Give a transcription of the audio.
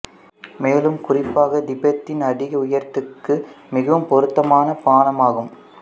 மேலும் குறிப்பாக திபெத்தின் அதிக உயரத்திற்கு மிகவும் பொருத்தமான பானமாகும்